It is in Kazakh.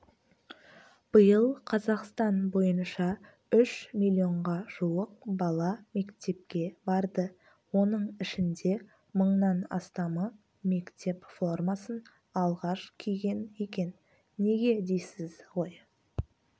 биыл қазақстан бойынша үш миллионға жуық бала мектепке барды оның ішінде мыңнан астамы мектеп формасын алғаш киген екен неге дейсіз ғой